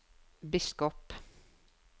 biskop